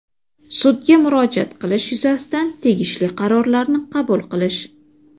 sudga murojaat qilish yuzasidan tegishli qarorlarni qabul qilish;.